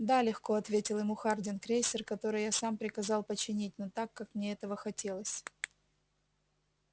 да легко ответил ему хардин крейсер который я сам приказал починить но так как мне этого хотелось